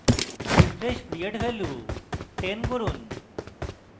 refresh period value 10 করুন